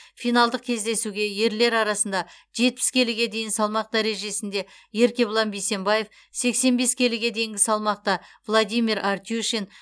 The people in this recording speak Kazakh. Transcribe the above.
финалдық кездесуге ерлер арасында жетпіс келіге дейін салмақ дәрежесінде еркебұлан бейсембаев сексен бес келіге дейінгі салмақта владимир артюшин